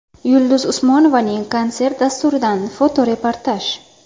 Yulduz Usmonovaning konsert dasturidan fotoreportaj.